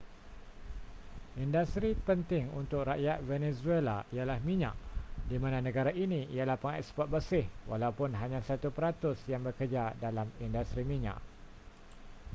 industri penting untuk rakyat venezuela ialah minyak di mana negara ini ialah pengeksport bersih walaupun hanya satu peratus yang bekerja dalam industri minyak